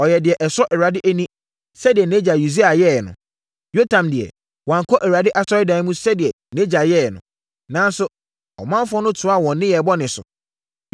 Ɔyɛɛ deɛ ɛsɔ Awurade ani sɛdeɛ nʼagya Usia yɛeɛ no. Yotam deɛ, wankɔ Awurade Asɔredan mu sɛdeɛ nʼagya yɛeɛ no. Nanso, ɔmanfoɔ no toaa wɔn nnebɔneyɛ so.